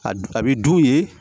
A du a bi dun ye